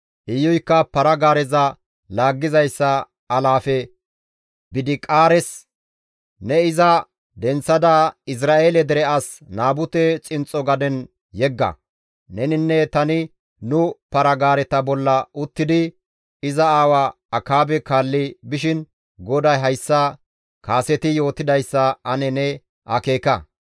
Iyuykka para-gaareza laaggizayssa alaafe Bidiqaares, «Ne iza denththada Izra7eele dere as Naabute xinxxo gaden yegga; neninne tani nu para-gaareta bolla uttidi iza aawa Akaabe kaalli bishin GODAY hayssa kaseti yootidayssa ane ne akeeka;